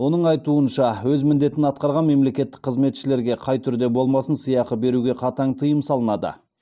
оның айтуынша өз міндетін атқарған мемлекеттік қызметшілерге қай түрде болмасын сыйақы беруге қатаң тыйым салынады